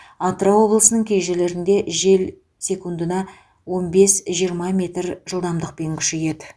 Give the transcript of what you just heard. атырау облысының кей жерлерінде жел секундына он бес жиырма метр жылдамдықпен күшейеді